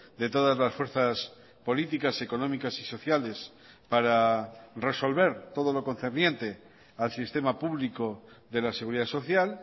de todas las fuerzas políticas económicas y sociales para resolver todo lo concerniente al sistema público de la seguridad social